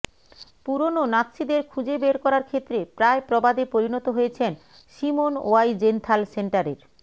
পুরনো নাত্সীদের খুঁজে বের করার ক্ষেত্রে প্রায় প্রবাদে পরিণত হয়েছেন সিমোন ওয়াইজেনথাল সেন্টারের